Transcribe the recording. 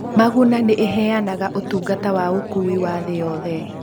Maguna nĩ ĩheanaga ũtungata wa ũkuui wa thĩ yothe.